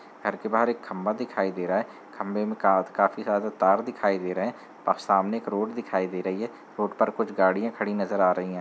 घर के बाहर एक खम्बा दिखाई दे रहा है। खम्बे में का काफी जादा तार दिखाई दे रहे हैं। सामने एक रोड दिखाई दे रही है। रोड पर कुछ गाड़ियां खड़ी नजर आ रही हैं।